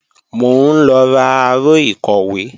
Mò ń lọ ra aró ìkọ̀wé